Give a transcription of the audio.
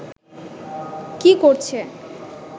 কি করছে